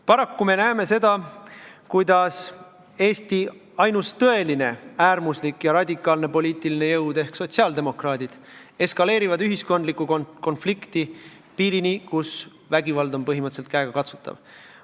Paraku me näeme seda, kuidas Eesti ainus tõeline äärmuslik ja radikaalne poliitiline jõud ehk sotsiaaldemokraadid eskaleerivad ühiskondlikku konflikti piirini, kus vägivald on põhimõtteliselt käega katsutav.